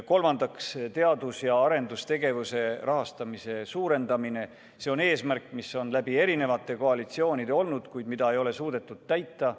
Kolmandaks, teadus- ja arendustegevuse rahastamise suurendamine – see on eesmärk, mis on erinevate koalitsioonide ajal olnud, kuid mida ei ole suudetud täita.